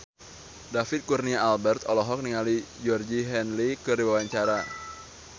David Kurnia Albert olohok ningali Georgie Henley keur diwawancara